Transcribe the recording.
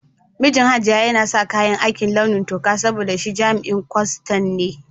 Mijin Hajiya yana sa kayan aiki launi toka saboda shi jami'in kwastan ne.